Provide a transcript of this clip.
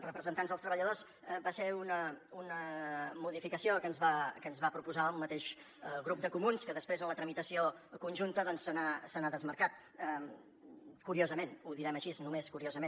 representants dels treballadors va ser una modificació que ens va proposar el mateix grup de comuns que després en la tramitació conjunta doncs se n’ha desmarcat curiosament ho direm així només curiosament